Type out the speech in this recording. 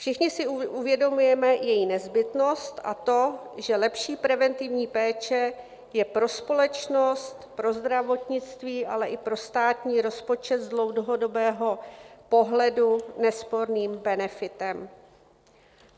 Všichni si uvědomujeme její nezbytnost a to, že lepší preventivní péče je pro společnost, pro zdravotnictví, ale i pro státní rozpočet z dlouhodobého pohledu nesporným benefitem.